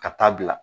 Ka taa bila